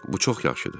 Bu çox yaxşıdır.